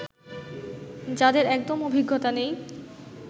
যাদের একদম অভিজ্ঞতা নেই